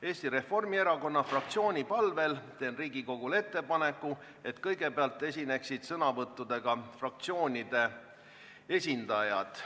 Eesti Reformierakonna fraktsiooni palvel teen Riigikogule ettepaneku, et kõigepealt esineksid sõnavõttudega fraktsioonide esindajad.